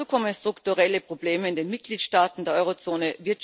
Dazu kommen strukturelle Probleme in den Mitgliedstaaten der Euro Zone.